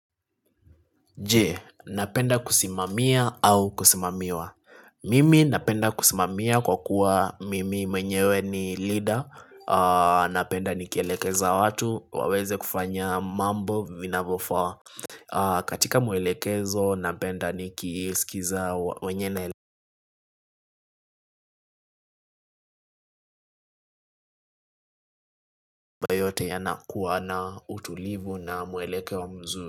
Je, napenda kusimamia au kusimamiwa? Mimi napenda kusimamia kwa kuwa mimi mwenyewe ni leader. Napenda nikielekeza watu, waweze kufanya mambo vinavofa. Katika mwelekezo napenda nikisikiza wenye yote yanakuwa na utulivu na mwelekeo mzuri.